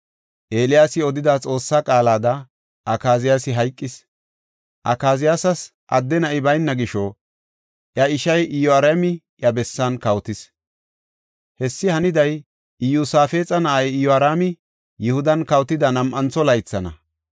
Eeliyaasi odida Xoossaa qaalada Akaziyaasi hayqis; Akaziyaasas adde na7i bayna gisho, iya ishay Iyoraami iya bessan kawotis. Hessi haniday Iyosaafexa na7ay Iyoraami Yihudan kawotida nam7antho laythana.